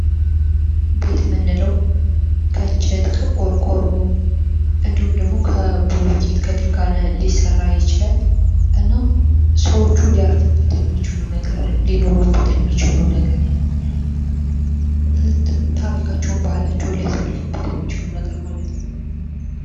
ቤት የምንለዉ ከእንጨት ከቆርቆሮ እንዲሁም ደግሞ ከብሎኬት ከድንጋይ ሊሰራ ይችላል። እና ሰዎቹ ሊያርፉበት የሚችሉ ነገር ታሪመካቸዉን ባህላቸዉን ሊያሳልፉበት ነገር ማለት ነዉ።